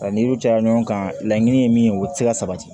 A ni u cɛla ɲɔgɔn kan laɲini ye min ye o tɛ se ka sabati